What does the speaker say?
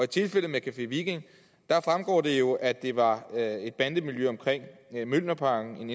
tilfælde med café viking fremgår det jo at det var et bandemiljø omkring mjølnerparken